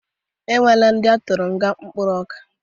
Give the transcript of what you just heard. Ọ nwela ndi atụrụ nga mkpụrụ ọka